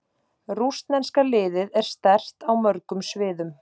Rússneska liðið er sterkt á mörgum sviðum.